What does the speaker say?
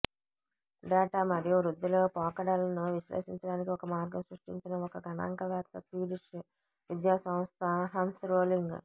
data మరియు వృద్ధిలో పోకడలను విశ్లేషించడానికి ఒక మార్గం సృష్టించిన ఒక గణాంకవేత్త స్వీడిష్ విద్యాసంస్థ హన్స్ రోలింగ్